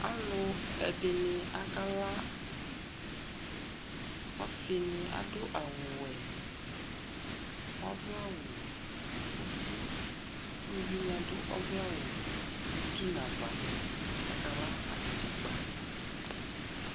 Alu ɛdini akala ɔsini adu awu wuɛ ɔvlɛ nuuti uluvini adu awu utinu ava akala anatsɛ akpa